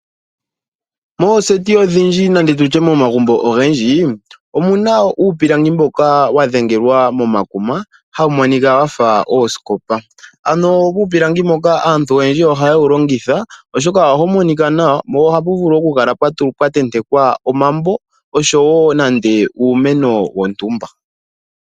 Mooseti ondhindji nenge tutye momagumbo ogendji omuna uupilangi mboka wa dhengelwa momakuma hawu monika wafa oosikopa. Ano uupilangi mboka aantu oyendji ohaye wu longitha oshoka ohawu monika nawa po ohapu vulu okukala pwa tentekwa omambo oshowo nande uumeno wontumba.